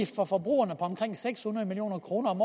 for forbrugerne på omkring seks hundrede million kroner om